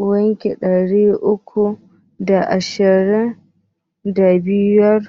Kwanaki ɗari uku da sittin da biyar